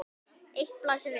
Eitt blasir við.